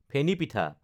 ফেনি পিঠা